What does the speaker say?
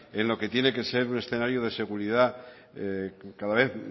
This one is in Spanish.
en lo que tiene que ser un escenario de seguridad cada vez